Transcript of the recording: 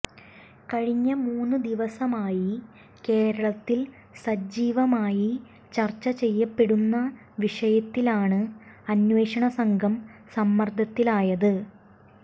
കഴിഞ്ഞ മൂന്ന് ദിവസമായി കേരളത്തിൽ സജീവമായി ചർച്ച ചെയ്യപ്പെടുന്ന വിഷയത്തിലാണ് അന്വേഷണ സംഘം സമ്മർദ്ദത്തിലായത്